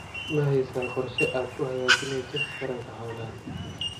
Mahaysaa qorshe aad ku hagaajinayso taranka xoolaha?